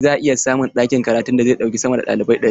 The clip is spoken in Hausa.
Za a iya samun ɗakin karatun da zai ɗauki sama da ɗalibai ɗari.